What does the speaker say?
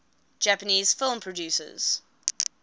japanese film producers